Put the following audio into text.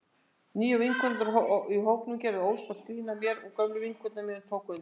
Nýju vinkonurnar í hópnum gerðu óspart grín að mér og gömlu vinkonur mínar tóku undir.